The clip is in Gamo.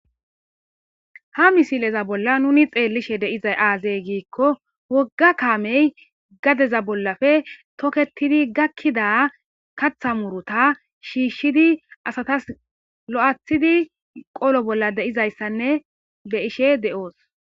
Ha missileza bollan nuni xellishe deizay aaze giikko wooga kaamey gaddeza bollappe tooketidi gakkida keththa muurutta shishshidi asatas lo'aththidi qollo bolla deizayssane beishe dosu.